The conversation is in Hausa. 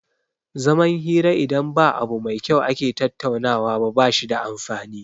Zaman hira idan ba abu mai kyau ake tattaunawa ba bashi da amfani